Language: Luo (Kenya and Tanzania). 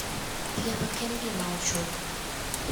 thieth ok en ga gima ochuno